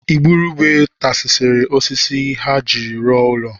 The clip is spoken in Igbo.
Igurube tasisiri osisi ha jiri rụọ ụlọ